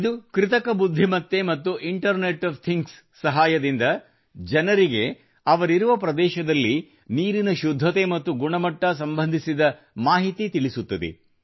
ಇದು ಕೃತಕ ಬುದ್ಧಿಮತ್ತೆ ಮತ್ತು ಇಂಟರ್ನೆಟ್ ಒಎಫ್ ಥಿಂಗ್ಸ್ ನ ಸಹಾಯದಿಂದ ಜನರಿಗೆ ಅವರಿರುವ ಪ್ರದೇಶದಲ್ಲಿ ನೀರಿನ ಶುದ್ಧತೆ ಮತ್ತು ಗುಣಮಟ್ಟ ಸಂಬಂಧಿತ ಮಾಹಿತಿ ತಿಳಿಸುತ್ತದೆ